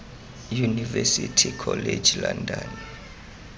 university college london